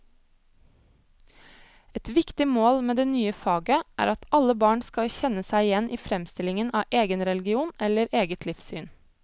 Et viktig mål med det nye faget er at alle barn skal kjenne seg igjen i fremstillingen av egen religion eller eget livssyn.